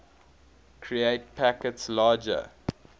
create packets larger